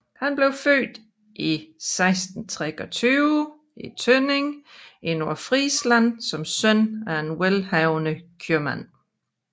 Han blev født i 1623 i Tønning i Nordfrisland som søn af en velhavende købmand